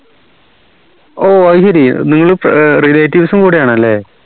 ഓഹ് അയ്‌ശേരി നിങ്ങൾ relatives ഉം കൂടിയാണല്ലേ